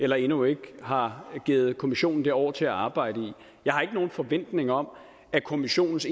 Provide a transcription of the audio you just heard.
eller endnu ikke har givet kommissionen det år til at arbejde i jeg har ikke nogen forventninger om at kommissionens